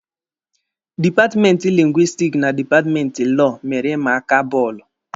Dipatmenti lingwistiki na dipatmenti Lọọ mere ịma aka bọọlụ.